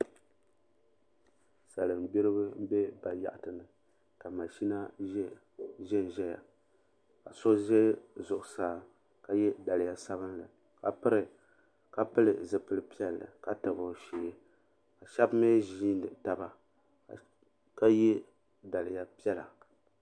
Salingbiriba m be bayaɣati ni ka mashina ʒɛnʒɛya ka so ʒɛ zuɣusaa ka ye daliya sabinli ka pili zipil piɛlli ka tabi o shee ka shɛba mi ʒiini taba ka ye daliya piɛla.